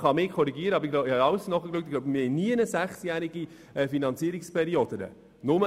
Man kann mich korrigieren, aber ich denke, dass wir nirgendwo sonst eine sechsjährige Finanzierungsperiode haben.